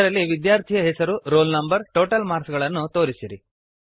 ಇದರಲ್ಲಿ ವಿದ್ಯಾರ್ಥಿಯ ಹೆಸರು ರೋಲ್ ನಂ ಟೋಟಲ್ ಮಾರ್ಕ್ಸ್ ಗಳನ್ನು ತೋರಿಸಿರಿ